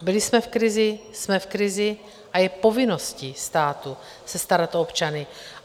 Byli jsme v krizi, jsme v krizi a je povinností státu se starat o občany.